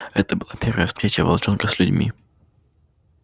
это была первая встреча волчонка с людьми